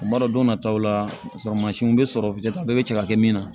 O b'a dɔn don nataw la sɔrɔ mansinw bɛ sɔrɔ bɛɛ bɛ se ka kɛ min na